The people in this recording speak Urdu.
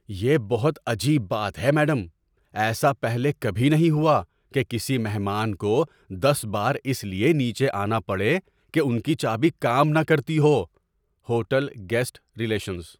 یہ بہت عجیب بات ہے میڈم۔ ایسا پہلے کبھی نہیں ہوا کہ کسی مہمان کو دس بار اس لیے نیچے آنا پڑے کہ ان کی چابی کام نہ کرتی ہو۔ (ہوٹل گیسٹ ریلیشنز)